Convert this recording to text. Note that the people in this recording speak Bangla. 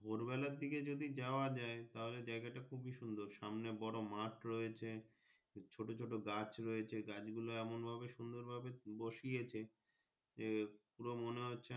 ভোর বেলার দিকে যদি যাওয়া যাই তাহলে জায়গা টা খুবই সুন্দর সামনে বোরো মাঠ রয়েছে ছোট ছোট গাছ রয়েছে গাছ গুলো এমন ভাবে সুন্দর ভাবে বসিয়েছে যে পুরো মনে হচ্ছে।